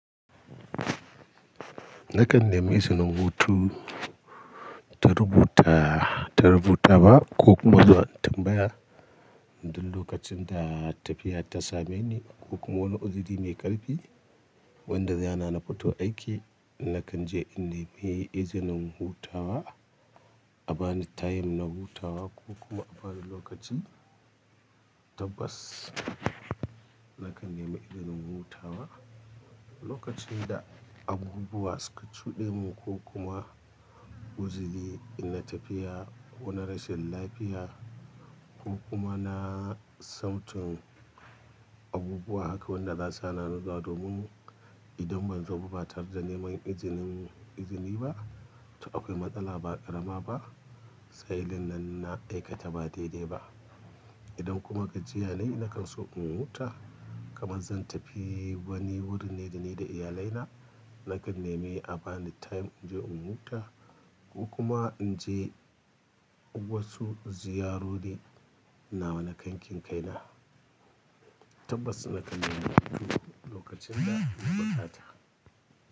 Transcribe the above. Nakan nemi izinin hutu ta rubuta, ta rubuta wa ko kuma zuwa tambaya. Duk lokacin da tafiya ta same ni ko kuma wani uziri mai ƙarfi wanda zai hana na fito aiki, nakan je in nemi izinin hutawa, a bani tayim na hutawa ko kuma a bani lokaci. Tabbas nakan nemi izinin hutawa lokacin da abubuwa suka cuɗe mu ko kuma uziri ina tafiya ko na rashin lafiya ko kuma na sautin abubuwa haka wanda za su hana ni zuwa. Domin idan banzo ba ta rda neman izinin izini ba, to akwai matsala ba ƙarama ba, sa'ilin nan na aika ta ba daidai ba. Idan kuma gajiya ne nakan so in huta kamar zan tafi wani wurin ne da ni da iyalai na, nakan nemi a bani tayim in je in huta ko kuma in je wasu ziyarori nawa na kakin kai na. Tabbas nakan nemi izini lokacin da ya buƙata.